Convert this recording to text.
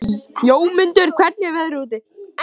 Jómundur, hvernig er veðrið úti?